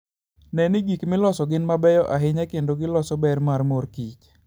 Ne ni gik miloso gin mabeyo ahinya kendo ginyiso ber mar mor kich.